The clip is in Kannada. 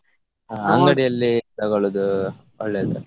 ಅ~ ಅಂಗಡಿಯಲ್ಲಿ ತಕೊಳ್ಳುದು ಒಳ್ಳೇದು.